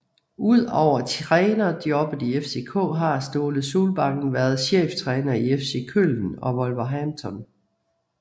Udover trænerjobbet i FCK har Ståle Solbakken været cheftræner i FC Köln og Wolverhampton